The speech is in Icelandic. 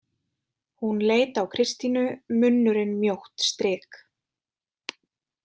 Hún leit á Kristínu, munnurinn mjótt strik.